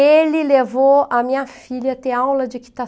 Ele levou a minha filha a ter aula de